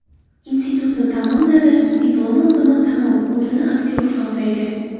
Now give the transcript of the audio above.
Institutni tamomladi, diplom oldimi, tamom, o‘zini aktyor hisoblaydi.